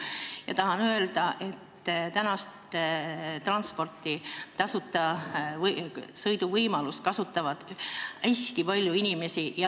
Ma tahan öelda, et praegust tasuta sõidu võimalust kasutab hästi palju inimesi.